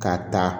Ka taa